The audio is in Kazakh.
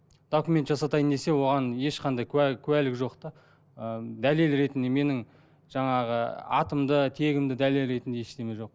документ жасатайын десе оған ешқандай куә куәлік жоқ та ы дәлел ретінде менің жаңағы атымды тегімді дәлел ретінде ештеме жоқ